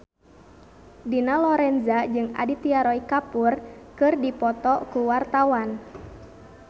Dina Lorenza jeung Aditya Roy Kapoor keur dipoto ku wartawan